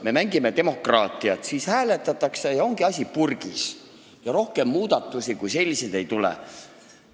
Me mängime demokraatiat, siis hääletatakse ja ongi asi purgis, rohkem muudatusi kui selliseid ei tule.